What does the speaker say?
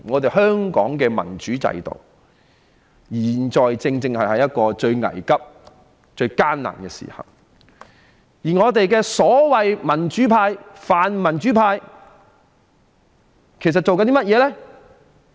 當香港的民主制度現在處於一個最危急及最艱難的時刻，我們的所謂泛民主派正在做甚麼呢？